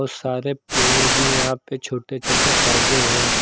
बहुत सारे पेड़ भी यहां पे छोटे छोटे पौधे हैं।